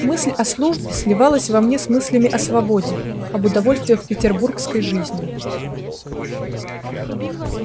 мысль о службе сливалась во мне с мыслями о свободе об удовольствиях петербургской жизни